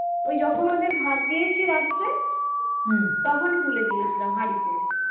ওই যখন ওদের ভাত দিয়েছি রাত্রে তখনই তুলে দিয়েছিলাম হাঁড়িতে